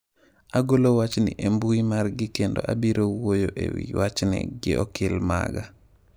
"Agolo wachni e mbui margi kendo abiro wuoyo ewi wachni gi okil maga."""